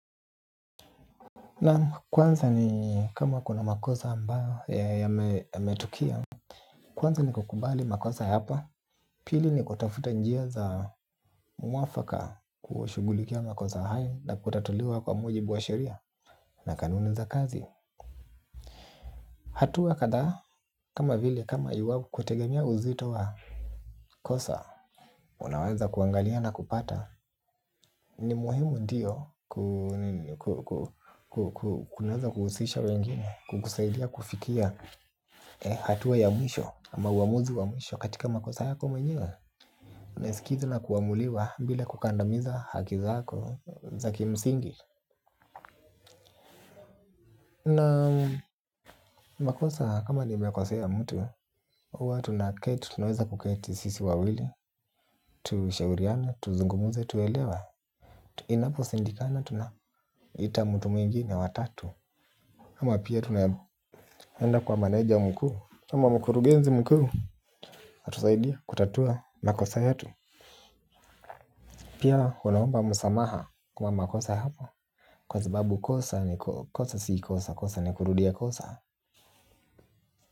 Naam kwanza ni kama kuna makosa ambayo ya metokea. Kwanza ni kukubali makosa yako. Pili ni kutafuta njia za mwafaka kushughulikia makosa hayo. Na kutatuliwa kwa muji buwa sheria. Na kanuni za kazi hatua kadhaa kama vile kama iwapo kutegemea uzito wa kosa. Unaweza kuangalia na kupata. Ni muhimu ndiyo kunaweza kuhusisha wengine. Kukusaidia kufikia hatua ya mwisho ama uamuzi wa mwisho katika makosa yako mwenyewe. Naisikiza na kuamuliwa bila kukandamiza hakizako Zaki msingi. Na makosa kama nime kosea mtu hUwa tuna keti. Tunaweza kuketi sisi wawili. Tushauriane, tuzungumuze, tuelewe. Inapo shindikana. Tuna ita mtu mwingine w atatu. Ama pia tunaenda kwa manager mkuu ama mkurugenzi mkuu anatusaidia kutatua makosa yetu. Pia unaomba msamaha kwa makosa hapa. Kwa sababu kosa ni kosa si kosa kosa ni kurudia kosa.